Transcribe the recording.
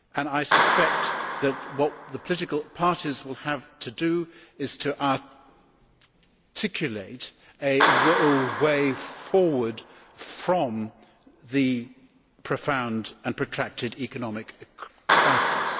I suspect that what the political parties will have to do is to articulate a way forward from this profound and protracted economic crisis.